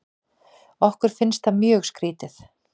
Okkur finnst það mjög skrítið.